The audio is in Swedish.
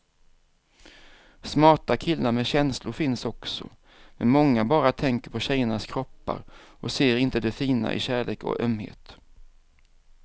Smarta killar med känslor finns också, men många bara tänker på tjejernas kroppar och ser inte det fina i kärlek och ömhet.